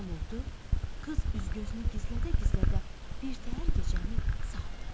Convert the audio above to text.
Axşam oldu, qız üz-gözünü gizlədə-gizlədə birtəhər gecəni saldı.